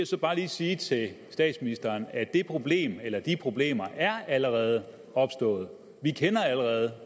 så bare lige sige til statsministeren at det problem eller de problemer allerede er opstået vi kender allerede